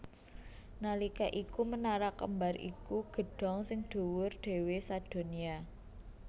Nalika iku Menara Kembar iku gedhong sing dhuwur dhéwé sadonya